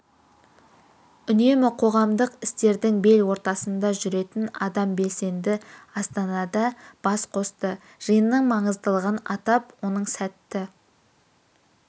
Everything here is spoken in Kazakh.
үнемі қоғамдық істердің бел ортасында жүретін астам белсенді астанада бас қосты жиынның маңыздылығын атап оның сәтті